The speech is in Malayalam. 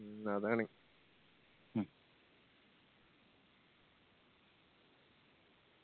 മ്മ് അതാണ്